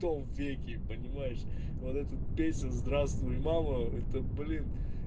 том веке понимаешь вот эту песню здравствуй мама это блин